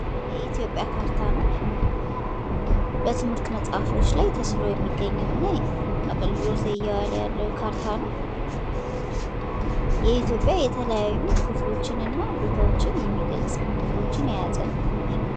የኢትዮጵያ ካርታ ነው። በትምህርት መጽሐፎች ላይ ተስሎ የሚገኘው እና አገልግሎት ላይ እየዋለ ያለው ካርታ ነው። የኢትዮጵያ የተለያዩ ክፍሎችንና ቦታዎችን የሚገልጽ ምልክቶችን የያዘ ነው።